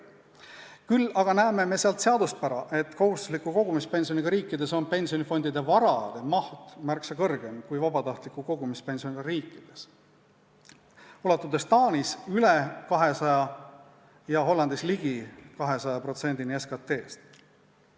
Küll aga näeme seaduspära, et kohustusliku kogumispensioniga riikides on pensionifondide varade maht märksa suurem kui vabatahtliku kogumispensioniga riikides, ulatudes Taanis üle 200% ja Hollandis ligi 200%-ni SKT-st.